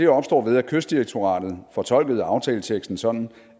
opstår ved at kystdirektoratet fortolkede aftaleteksten sådan